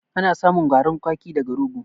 Ana samun garin kwaki daga rogo.